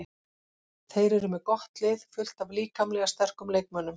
Þeir eru með gott lið, fullt af líkamlega sterkum leikmönnum.